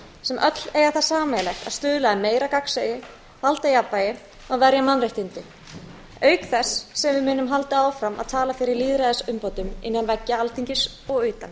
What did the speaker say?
sem öll eiga það sameiginlegt að stuðla að meira gagnsæi valdajafnvægi og verja mannréttindi auk þess sem við munum halda áfram að tala fyrir lýðræðisumbótum innan veggja alþingis og utan